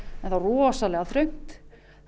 var rosalega þröngt